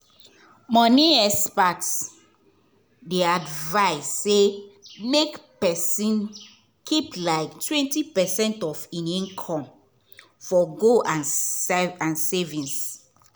money experts dey advise say make person keep like twenty percent of him income for goal and and savings.